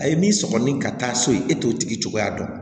A ye min sɔgɔ ni ka taa so ye e t'o tigi cogoya dɔn